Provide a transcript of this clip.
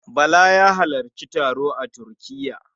Bala ya halarci taro a Turkiya.